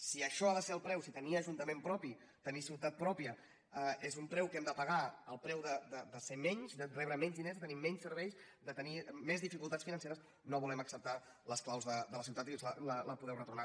si això n’ha de ser el preu si tenir ajuntament propi tenir ciutat pròpia és un preu que hem de pagar el preu de ser menys de rebre menys diners de tenir menys serveis de tenir més dificultats financeres no volem acceptar les claus de la ciutat i us les podem retornar